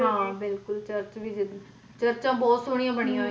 ਹਾਂ ਬਿਲਕੁਲ ਚਰਚ ਵੀ ਹੈ ਚਰਚਾਂ ਵੀ ਬਹੁਤ ਸੋਹਣਿਆ ਬਣਿਆ ਹੋਈਆਂ ਨੇ ਤੇ ਦੇਖਣ ਵਾਲੀ ਹੁੰਦੀਹੈ ਚਰਚ ਤਾਂ